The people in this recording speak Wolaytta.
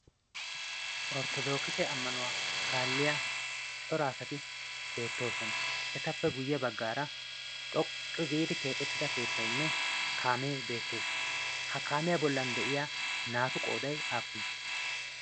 orttodookise ammanuwaa kaalliya coraasati beettoosona etappe guyye baggaara xoqqi giidi keexettida keettainne kaamee beettees ha kaamiyaa bollan de'iya naatu qooday aappunee?